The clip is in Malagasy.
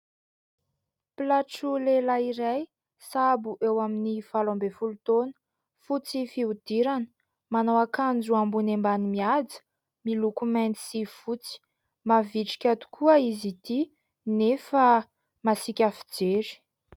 Mpilatro lehilahy iray : sahabo eo amin'ny valo ambin'ny folo taona, fotsy fihodirana, manao akanjo ambony ambany mihaja, miloko mainty sy fotsy; mavitrika tokoa izy ity nefa masiaka fijery.